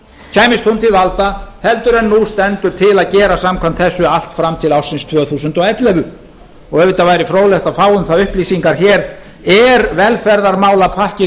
kæmist hún til valda heldur en nú stendur til að gera samkvæmt þessu allt fram til ársins tvö þúsund og ellefu og auðvitað væri fróðlegt að fá um það upplýsingar hér er velferðarmálapakki ríkisstjórnarinnar þar með tæmdur